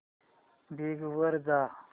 Bing वर जा